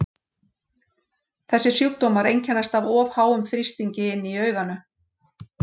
Þessir sjúkdómar einkennast af of háum þrýstingi inni í auganu.